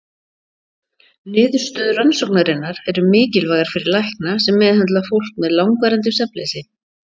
Niðurstöður rannsóknarinnar eru mikilvægar fyrir lækna sem meðhöndla fólk með langvarandi svefnleysi.